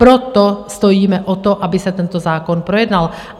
Proto stojíme o to, aby se tento zákon projednal.